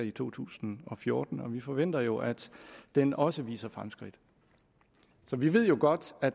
i to tusind og fjorten og vi forventer jo at den også viser fremskridt så vi ved godt at